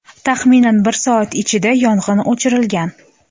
Taxminan bir soat ichida yong‘in o‘chirilgan.